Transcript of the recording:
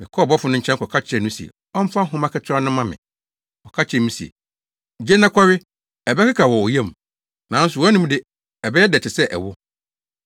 Mekɔɔ ɔbɔfo no nkyɛn kɔka kyerɛɛ no se ɔmfa nhoma ketewa no mma me. Ɔka kyerɛɛ me se, “Gye na kɔwe. Ɛbɛkeka wɔ wo yam, nanso wʼanom de, ɛbɛyɛ dɛ te sɛ ɛwo.”